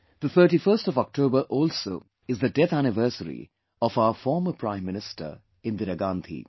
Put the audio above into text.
The 31st of October also is the death anniversary of our former Prime Minister Indira Gandhi